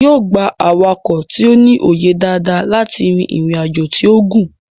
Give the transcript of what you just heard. yóò gbà awakọ̀ tí o ní òye dada láti rí ìrìn ajọ tíó gún